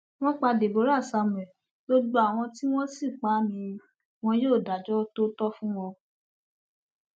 wọn pa deborah samuel gbogbo àwọn tí wọn sì pa á ni wọn yóò dájọ tó tọ fún wọn